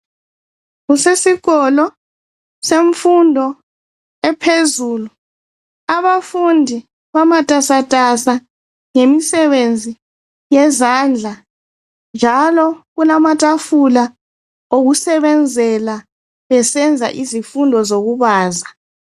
Kusesikolo semfundo ephezulu. Abafundi bamatasatasa ngemisebenze yezandla njalo kulamatafula okusebenzela besenza izifundo zokubaza.